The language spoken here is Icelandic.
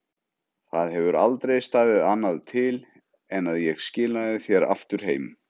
Það hefur aldrei staðið annað til en að ég skilaði þér aftur heim.